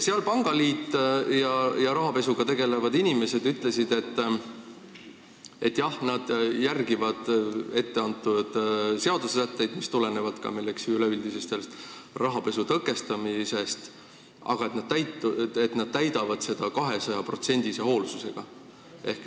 Pangaliit ja rahapesu tõkestamisega tegelevad inimesed ütlesid, et nad järgivad ette antud seadusesätteid, mis tulenevad ka üleüldisest rahapesu tõkestamise eesmärgist, aga nad täidavad seda kahesajaprotsendilise hoolsusega.